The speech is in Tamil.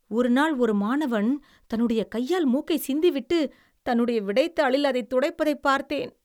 ஒரு நாள் ஒரு மாணவன் தன்னுடைய கையால் மூக்கை சிந்திவிட்டு தன்னுடைய விடைத்தாளில் அதைத் துடைப்பதைப் பார்த்தேன்.